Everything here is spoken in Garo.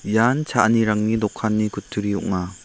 ian cha·anirangni dokanni kutturi ong·a.